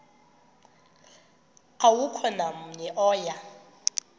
akukho namnye oya